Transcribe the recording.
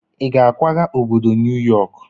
Ị ga-akwaga obodo New York?